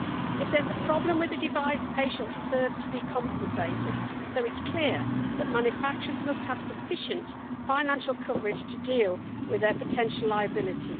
If there is a problem with the device, patients deserve to be compensated, so it is clear that manufacturers must have sufficient financial coverage to deal with their potential liability.